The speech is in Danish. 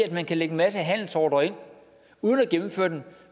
at man kan lægge en masse handelsordrer ind uden at gennemføre dem